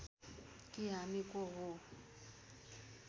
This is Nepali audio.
कि हामी को हौं